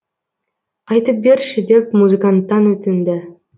айтып берші деп музыканттан өтінді